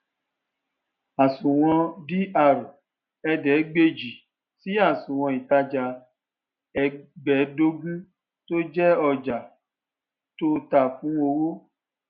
àsunwon dr ẹẹdẹgbàjì si àsunwon ìtàjà ẹgbẹẹdògún tó jẹ ojà tó tà fún owó